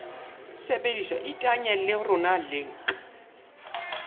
sebediswa iteanye le rona link